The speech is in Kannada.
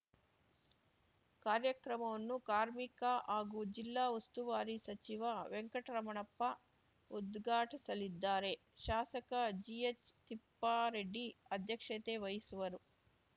ಕಾರ್ಯಕ್ರಮವನ್ನು ಕಾರ್ಮಿಕ ಹಾಗೂ ಜಿಲ್ಲಾ ಉಸ್ತುವಾರಿ ಸಚಿವ ವೆಂಕಟರಮಣಪ್ಪ ಉದ್ಘಾಟಿಸಲಿದ್ದಾರೆ ಶಾಸಕ ಜಿಎಚ್‌ತಿಪ್ಪಾರೆಡ್ಡಿ ಅಧ್ಯಕ್ಷತೆ ವಹಿಸುವರು